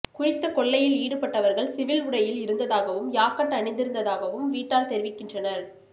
குறித்த கொள்ளையில் ஈடுபட்டவர்கள் சிவில் உடையில் இருந்ததாகவும் யாக்கட் அணிந்திருந்ததாகவும் வீட்டார் தெரிவிக்கின்றனர்